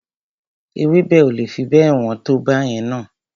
Ewébẹ̀ o le fi bẹ́ẹ̀ wọ́n tó báyẹn na.